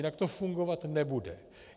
Jinak to fungovat nebude.